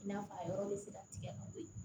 I n'a fɔ a yɔrɔ bɛ se ka tigɛ ka bɔ yen